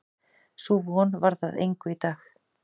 Sú von varð að engu í dag.